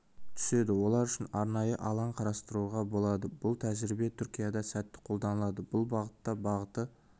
түседі олар үшін арнайы алаң қарастыруға болады бұл тәжірибе түркияда сәтті қолданылады бұл бағытта бағыты